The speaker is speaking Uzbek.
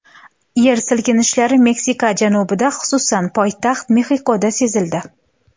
Yer silkinishlari Meksika janubida, xususan, poytaxt Mexikoda sezildi.